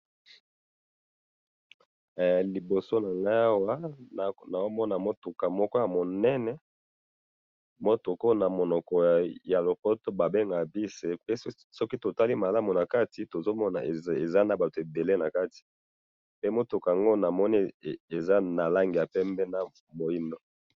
liboso na ngai awa nazo mona mutuka moko ya monene, mutuka oyo na monoko ya lopoto ba bengeka bus, pe soki totali malamu na kati tozo mona eza na batu ebele na kati, pe mutuka yango namoni eza na langi pembe na moindo